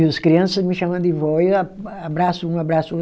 E os criança me chama de vó e eu abraço um, abraço outro.